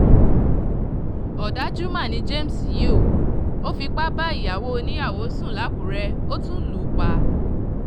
ọ̀dájú mà ni james yìí o ò fipá bá ìyàwó oníyàwó sùn làkúrẹ́ ó tún lù ú pa